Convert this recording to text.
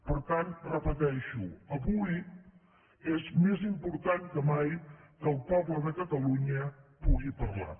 per tant ho repeteixo avui és més important que mai que el poble de catalunya pugui parlar